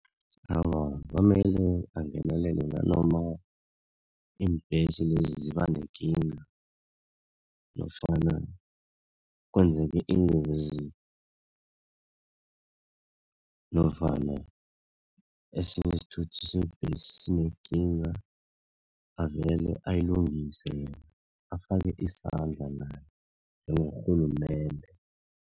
Awa kwamele angenelele nanoma iimbesi lezi ziba nekinga nofana kwenzeke ingozi nofana esinye isithuthi sinekinga avele ayilungise yena afake isandla naye njengo rhulumende.